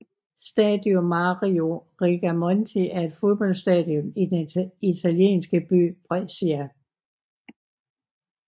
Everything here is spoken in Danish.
Stadio Mario Rigamonti er et fodboldstadion i den italienske by Brescia